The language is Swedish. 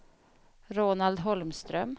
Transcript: Roland Holmström